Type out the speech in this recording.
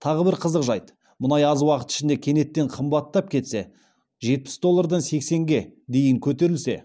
тағы бір қызық жайт мұнай аз уақыт ішінде кенеттен қымбаттап кетсе жетпіс доллардан сексенге дейін көтерілсе